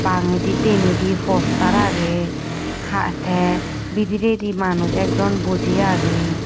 bangedi denedi postar aage ha te bidiredi manuj ekjon boji aage.